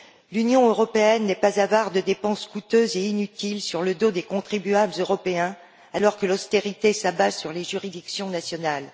L'Union européenne n'est pas avare de dépenses coûteuses et inutiles sur le dos des contribuables européens, alors que l'austérité s'abat sur les juridictions nationales.